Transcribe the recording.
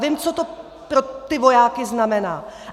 Vím, co to pro ty vojáky znamená.